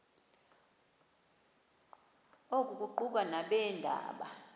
oku kuquka nabeendaba